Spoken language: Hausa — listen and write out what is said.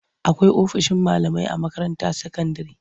Akwai ofishin malamai a makaranta sakandire.